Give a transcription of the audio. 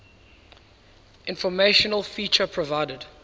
informational feature provided